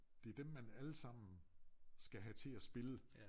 Det dem man alle sammen skal have til at spille